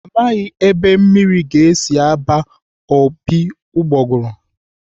Amaghị ebe mmiri ga-esi aba ooo ụgbọgụrụ.